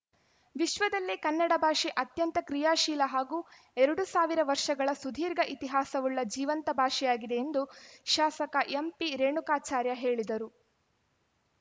ವಿಶ್ವದಲ್ಲೇ ಕನ್ನಡ ಭಾಷೆ ಅತ್ಯಂತ ಕ್ರಿಯಾಶೀಲ ಹಾಗೂ ಎರಡು ಸಾವಿರ ವರ್ಷಗಳ ಸುದೀರ್ಘ ಇತಿಹಾಸವುಳ್ಳ ಜೀವಂತ ಭಾಷೆಯಾಗಿದೆ ಎಂದು ಶಾಸಕ ಎಂಪಿ ರೇಣುಕಾಚಾರ್ಯ ಹೇಳಿದರು